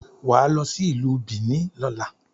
Wà á lọ sí Ìlú Bìíní lọ́la.